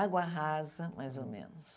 Água rasa, mais ou menos.